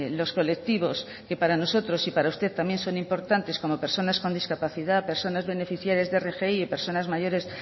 los colectivos que para nosotros y para usted también son importantes como personas con discapacidad personas beneficiarias de rgi o personas mayores